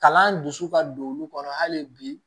Kalan dusu ka don olu kɔnɔ hali bi